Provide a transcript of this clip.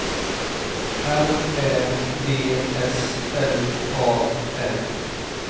R Ä D S L A N